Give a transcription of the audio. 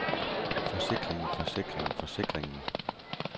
forsikringen forsikringen forsikringen